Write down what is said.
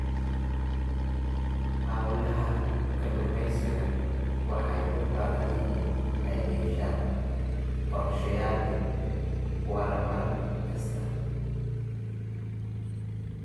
Hawlaha kalluumaysigu waxay u baahan yihiin inay yeeshaan qorshayaal waara mar kasta.